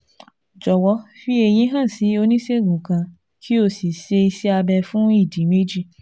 Jọwọ fi èyí hàn sí oníṣègùn kan kó o sì ṣe iṣẹ́ abẹ fún ìdí méjì